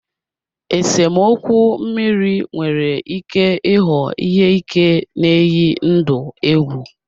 Esemokwu mmiri nwere ike ịghọ ihe ike na-eyi ndụ egwu.